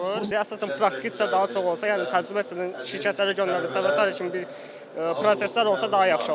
Əsasən praktiki daha çox olsa, yəni təcrüməsinə şirkətlərə göndərilirsə və sair kimi bir proseslər olsa daha yaxşı olar.